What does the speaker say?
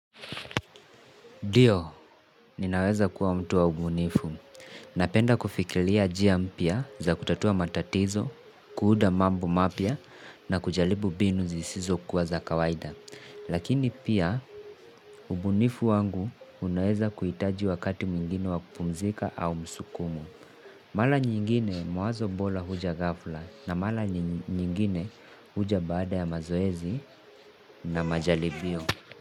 Ndiyo, ninaweza kuwa mtu wa ubunifu. Napenda kufikiria njia mpya za kutatua matatizo, kuunda mambo mapya na kujaribu mbinu zisizo kuwa za kawaida. Lakini pia ubunifu wangu unaweza kuhitaji wakati mwingine wa kupumzika au msukumo. Mara nyingine mawazo bora huja ghafla na mara nyingine huja baada ya mazoezi na majaribio.